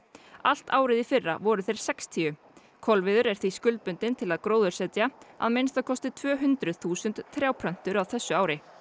allt árið í fyrra voru þeir sextíu kolviður er því til að gróðursetja að minnsta kosti tvö hundruð þúsund trjáplöntur á þessu ári